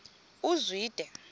uzwide